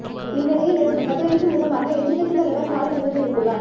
இந்நிலையில் இதற்கு பதிலளிக்கும் விதமாக எதிர்க்கட்சித் தலைவர் ஸ்டாலின் இதனை தெரிவித்துள்ளார்